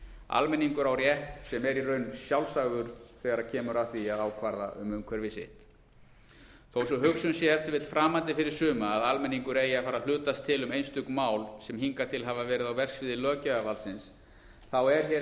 almenningur á rétt sem er í raun sjálfsagður þegar kemur að því að ákvarða um umhverfi sitt þó að sú hugsun sé ef til vill framandi fyrir suma að almenningur eigi að fara að hlutast til um einstök mál sem hingað til hafa verið á verksviði löggjafarvaldsins er hér